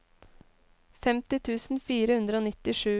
femti tusen fire hundre og nittisju